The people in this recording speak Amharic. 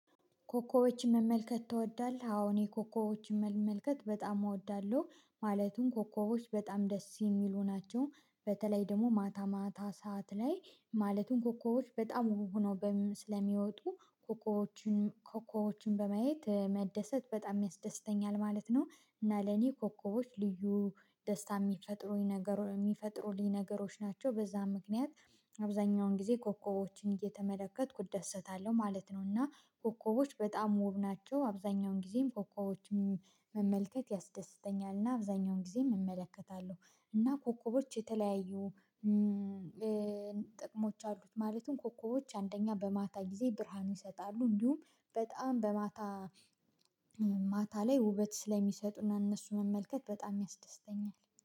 ኮከቦችን መመልከት ትወዳለህ? አዎ እኔ ኮከቦችን መመልከት በጣም እወዳለሁ ማለትም ኮከቦች በጣም ደስ የሚሉ ናቸው በተለይ ደግሞ ማታ ማታ ሰዓት ላይ ማለትም ኮኮቦች በጣም ውብ ሆነው ስለሚወጡ ኮከቦችን ኮከቦችን በማየት መደሰት በጣም ያስደስተኛል ማለት ነው እና ለኔ ኮከቦች ልዩ ደስታ የሚፈጥሩኝ ነገሮች የሚፈጥሩኝ ነገሮች ናቸው በዛ ምክንያት አብዛኛውን ጊዜ ኮከቦችን እየተመለከትኩ እደሰታለሁ ማለት ነው እና ኮከቦች በጣም ውብ ናቸው አብዛኛውን ጊዜም ኮከቦችን መመልከት ያስደስተኛል እና አብዛኛውን ጊዜም እመለከታለሁ እና ኮከቦች የተለያዩ ጥቅሞች አሉት ማለትም ኮከቦች አንደኛ በማታ ጊዜ ብርሃን ይሰጣሉ እንዲሁም በጣም በማታ ማታ ላይ ውበት ስለሚሰጡና እነሱ መመልከት በጣም ያስደስተኛል